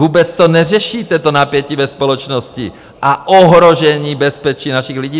Vůbec to neřešíte, to napětí ve společnosti a ohrožení bezpečí našich lidí.